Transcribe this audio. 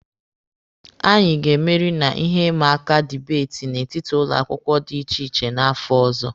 Anyị ga-emeri na ihe maka dibeeti n'etiti ụlọ akwụkwọ dị iche iche n'afọ ọzọ.